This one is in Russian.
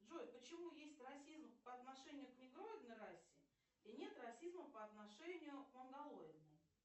джой почему есть расизм по отношению к негроидной расе и нет расизма по отношению к монголоидной